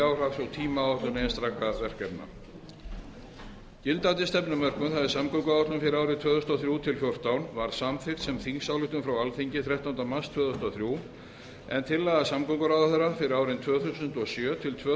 og tímaáætlun einstakra verkefna gildandi stefnumörkun samgönguáætlun fyrir árin tvö þúsund og þrjú til tvö þúsund og fjórtán var samþykkt sem þingsályktun frá alþingi þrettánda mars tvö þúsund og þrjú en tillaga samgönguráðherra fyrir árin tvö þúsund og sjö til tvö